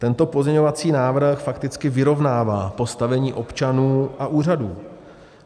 Tento pozměňovací návrh fakticky vyrovnává postavení občanů a úřadů.